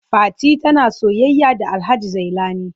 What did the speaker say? Fati tana soyayya da Alhaji Zailani.